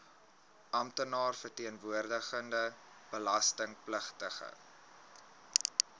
amptenaar verteenwoordigende belastingpligtige